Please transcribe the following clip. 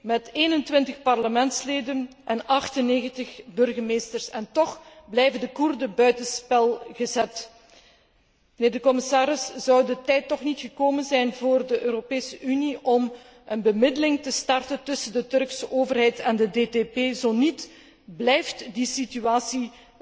met 21 parlementsleden en 98 burgemeesters en toch blijven de Koerden buiten spel gezet. Commissaris, zou de tijd toch niet gekomen zijn voor de Europese Unie om een bemiddeling te starten tussen de Turkse overheid en de DTP, zo niet, dan blijft die situatie